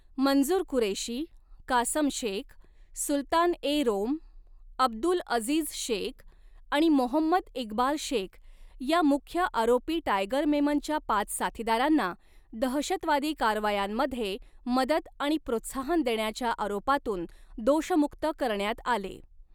मंजूर कुरेशी, कासम शेख, सुलतान ए रोम, अब्दुल अझीझ शेख आणि मोहम्मद इक्बाल शेख या मुख्य आरोपी टायगर मेमनच्या पाच साथीदारांना, दहशतवादी कारवायांमध्ये मदत आणि प्रोत्साहन देण्याच्या आरोपातून दोषमुक्त करण्यात आले.